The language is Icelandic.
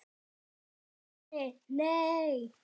Guðni:. nei.